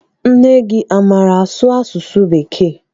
Nne gị amaara asụ asụsụ bekee?